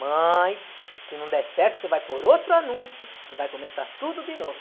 Mãe, se não der certo, você vai por outro anúncio e vai começar tudo de novo.